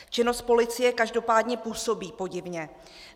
Činnost policie každopádně působí podivně.